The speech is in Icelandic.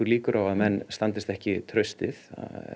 líkur á að menn standist ekki traustið